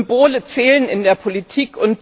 Symbole zählen in der Politik.